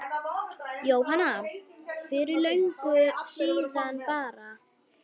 Jóhanna: Fyrir löngu síðan bara?